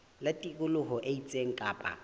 ba tikoloho e itseng kapa